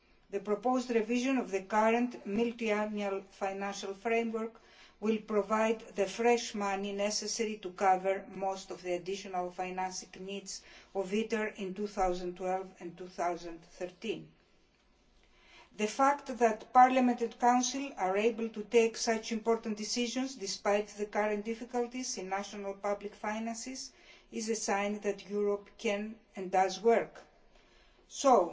The proposed revision of the current multiannual financial framework will provide the fresh money necessary to cover most of the additional financing needs of ITER in 2012 and 2013. The fact that Parliament and Council are able to take such important decisions, despite the current difficulties in national public finances, is a sign that Europe can and does work. So